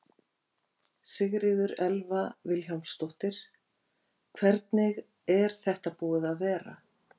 Sigríður Elva Vilhjálmsdóttir: Hvernig er þetta búið að vera?